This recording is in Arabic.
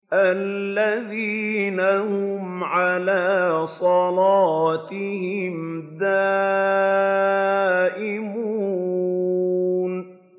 الَّذِينَ هُمْ عَلَىٰ صَلَاتِهِمْ دَائِمُونَ